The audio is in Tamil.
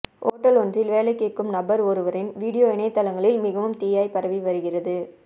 ஓட்டல் ஒன்றில் வேலை கேட்கும் நபர் ஒருவரின் வீடியோ இணையதளங்களில் மிகவும் தீயாய் பரவி வருகிறது